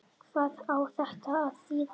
Hvað á þetta að þýða?